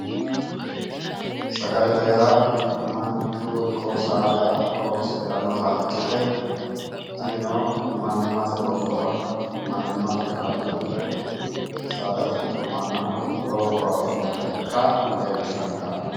Sagalete yaa manchu ikko saada horonsidhannota ikkite tinino mannimmate lophora mannimmate kaajjillira saadate ikko mannaho lowo horo afidhinota ikka leellishanno yaate